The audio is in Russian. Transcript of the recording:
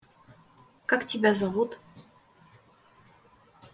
как тебя зовут